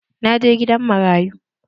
Na je gidan marayu.